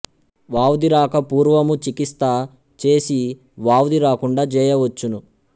వ్వాధి రాక పూర్వము చికిత్స చేసి వ్వాధి రాకుండ జేయ వచ్చును